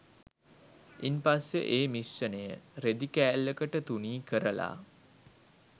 ඉන් පස්සෙ ඒ මිශ්‍රණය රෙදි කෑල්ලකට තුනී කරලා